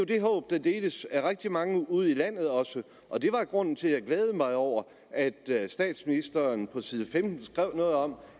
det håb der deles af rigtig mange ude i landet og det var grunden til at jeg glædede mig over at statsministeren på side femten skrev noget om